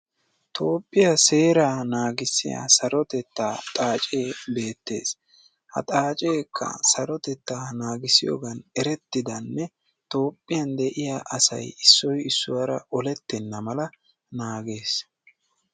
Toophiya seeraa naagissiya saroteta xaace beetees. Ha xaaceka sarotetta naagissiyogan erettidane toophiya de'iya asay issoy issuwara olletenamala naagees.